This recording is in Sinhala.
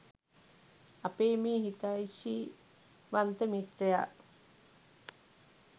අපේ මේ හිතෛෂීවන්ත මිත්‍රයා